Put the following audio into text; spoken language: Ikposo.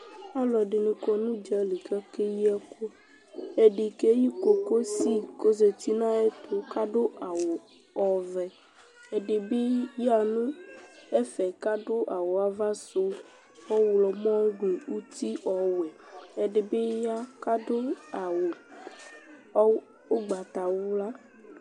Alʋɛdɩnɩ kɔ nʋ ʋdza li kʋ akeyi ɛkʋ Ɛdɩ keyi kokosi kʋ ɔzati nʋ ayɛtʋ kʋ adʋ awʋ ɔvɛ Ɛdɩ bɩ yaɣa nʋ ɛfɛ kʋ adʋ awʋ ava sʋ ɔɣlɔmɔ nʋ uti ɔwɛ Ɛdɩ bɩ ya kʋ adʋ awʋ ʋgbatawla